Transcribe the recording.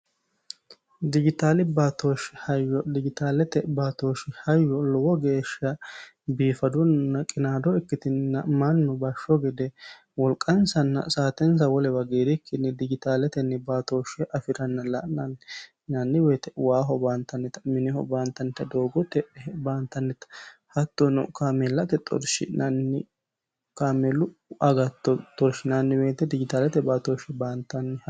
Dijitaali baatooshi hayyolowo geesha biifadona qinaado ikkiitno